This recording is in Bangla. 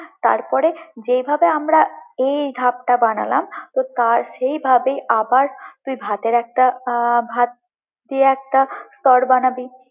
তারপরে যেভাবে আমরা এই ধাপটা বানালাম, তো তারসেভাবেই আবার তুই ভাতের একটা আহ ভাত দিয়ে একটা স্তর বানাবি।